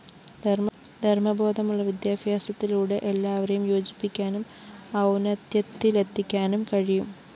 ധര്‍മ്മബോധമുള്ള വിദ്യാഭ്യാസത്തിലൂടെ എല്ലാവരെയും യോജിപ്പിക്കാനും ഔന്നത്യത്തിലെത്തിക്കാനും കഴിയും